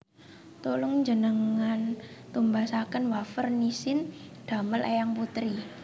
Tulung njenengan tumbasaken wafer Nissin damel eyang putri